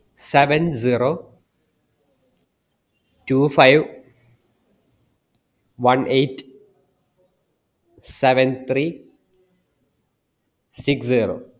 seven zero two five one eight seven three six zero